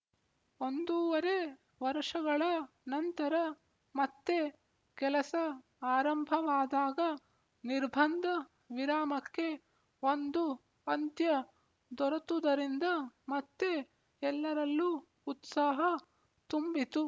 ಒಂದೂವರೆ ವರ್ಷಗಳ ನಂತರ ಮತ್ತೆ ಕೆಲಸ ಆರಂಭವಾದಾಗ ನಿರ್ಬಂಧ ವಿರಾಮಕ್ಕೆ ಒಂದು ಅಂತ್ಯ ದೊರೆತುದರಿಂದ ಮತ್ತೆ ಎಲ್ಲರಲ್ಲೂ ಉತ್ಸಾಹ ತುಂಬಿತು